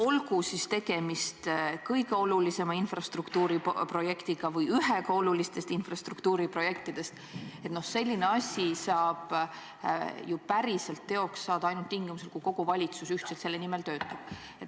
Olgu tegemist kõige olulisema infrastruktuuriprojektiga või ühega olulisimatest infrastruktuuriprojektidest, selline asi saab päriselt teostuda ainult siis, kui kogu valitsus selle nimel ühiselt töötab.